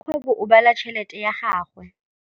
Rakgwêbô o bala tšheletê ya gagwe.